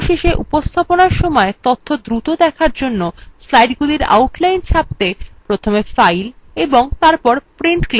অবশেষে উপস্থাপনার সময় তথ্য দ্রুত দেখার জন্য slidesগুলির outline ছাপতে প্রথমে file এবং তারপর print করুন